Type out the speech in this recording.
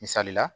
Misali la